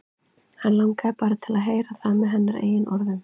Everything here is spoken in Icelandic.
Hann langaði bara til að heyra það með hennar eigin orðum.